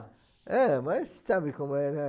É, mas sabe como é, né?